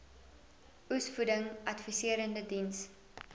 oesvoeding adviserende diens